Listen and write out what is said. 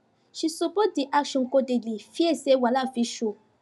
she support the action codedly fear say wahala fit show